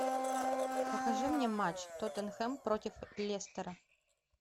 покажи мне матч тоттенхэм против лестера